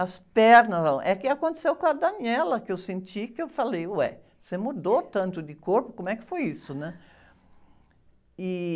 As pernas... É que aconteceu com a, que eu senti, que eu falei, ué, você mudou tanto de corpo, como é que foi isso, né? E...